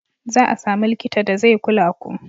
Za a sami likita da zai kula ku.